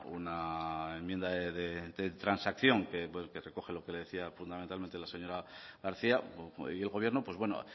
una enmienda de transacción que recoge lo que le decía fundamentalmente la señora garcía y el gobierno pues bueno